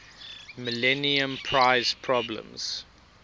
millennium prize problems